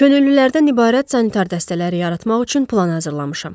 Könüllülərdən ibarət sanitar dəstələri yaratmaq üçün plan hazırlamışam.